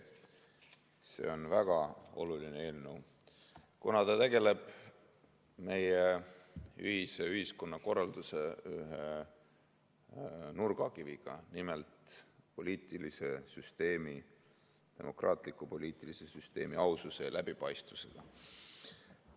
See on väga oluline eelnõu, kuna see tegeleb meie ühise ühiskonnakorralduse nurgakiviga, nimelt demokraatliku poliitilise süsteemi aususe ja läbipaistvusega.